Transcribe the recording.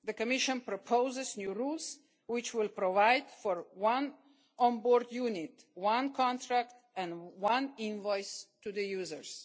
The Commission is proposing new rules which will provide for one on-board unit, one contract and one invoice to